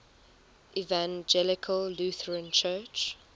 evangelical lutheran church